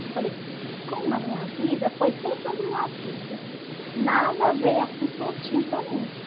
Aí eu falei, como na minha vida foi sempre um desafio, nada veio assim prontinho para mim.